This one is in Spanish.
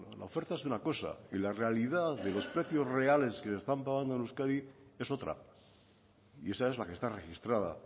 la oferta es una cosa y la realidad de los precios reales que se están pagando en euskadi es otra y esa es la que está registrada